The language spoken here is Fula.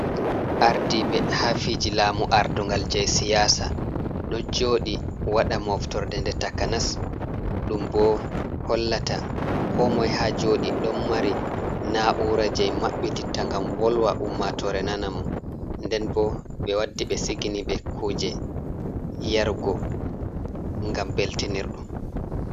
Ardiɓe haa fiji lamu ardungal jei siyasa ɗo joɗi waɗa moftorde nde takanas ɗum bo hollata ko moy ha joɗi. Ɗon mari na'ura jei maɓɓititta ngam wolwa ummatore nana mo, nden bo ɓe waddi ɓe sigini ɓe kuje yarugo ngam beltinirɗum.